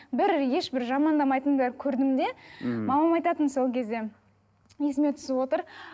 бір ешбір жамандамайтынын да көрдім де мхм мамам айтатын сол кезде есіме түсіп отыр